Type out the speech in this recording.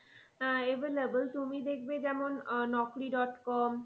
আহ available তুমি দেখবে যেমন আহ naukri dot com